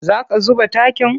Za ka zuba takin?